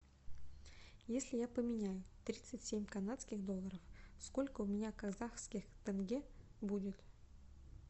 если я поменяю тридцать семь канадских долларов сколько у меня казахских тенге будет